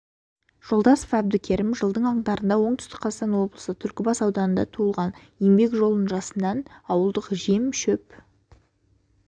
жолдасов әбдікерім жылдың қаңтарында оңтүстік қазақстан облысы түлкібас ауданында туылған еңбек жолын жасынан ауылдық жем шөп